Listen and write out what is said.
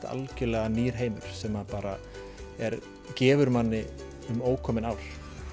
algjörlega nýr heimur sem að bara gefur manni um ókomin ár